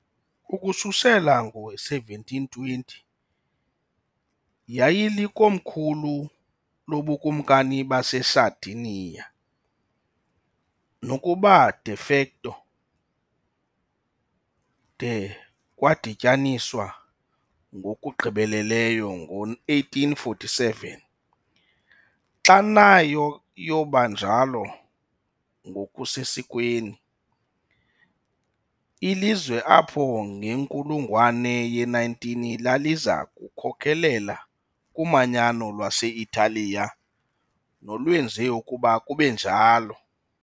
Ukususela ngo-1720 yayilikomkhulu loBukumkani baseSardinia, nokuba "de facto" de kwadityaniswa ngokugqibeleleyo ngo-1847, xa nayo yoba njalo ngokusesikweni, ilizwe apho ngenkulungwane ye-19, laliza kukhokelela kumanyano lwase-Italiya nolwenze ukuba kube njalo.